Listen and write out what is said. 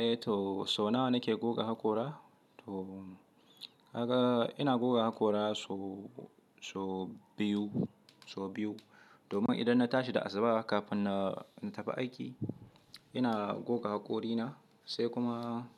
Eh to so nawa nake goga haƙora? To kaga ina goga haƙora so biyu, domin idan na tashi da asuba kafin na tafi aiki ina goga haƙorina, sai kuma